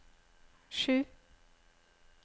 sju